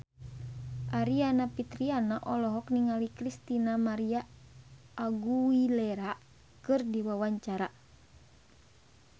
Aryani Fitriana olohok ningali Christina María Aguilera keur diwawancara